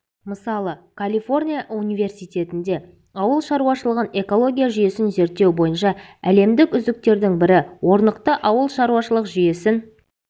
мысалы калифорния университетінде ауыл шаруашылығын экология жүйесін зерттеу бойынша әлемдік үздіктердің бірі орнықты ауылшаруашылық жүйесін